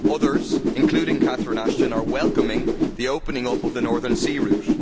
Others, including Catherine Ashton, are welcoming the opening up of the Northern Sea Route.